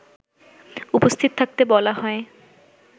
উপস্থিত থাকতে বলা হয়